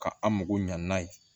Ka an mago ɲan n'a ye